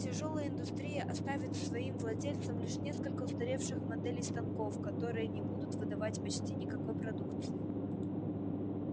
тяжёлая индустрия оставит своим владельцам лишь несколько устаревших моделей станков которые не будут выдавать почти никакой продукции